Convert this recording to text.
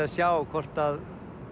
að sjá hvort að